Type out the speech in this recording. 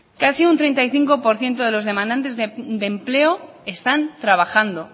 casi un treinta y cinco por ciento de los demandantes de empleo están trabajando